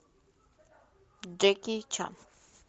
джеки чан